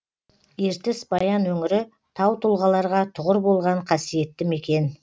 ертіс баян өңірі таутұлғаларға тұғыр болған қасиетті мекен